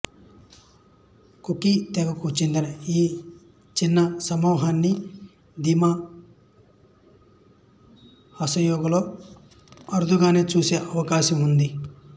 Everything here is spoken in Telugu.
కుకీ తెగకు చెందిన ఈ చిన్న సమూహాన్ని దిమా హసాయోలో అరుదుగానే చూసే అవకాశం ఉంది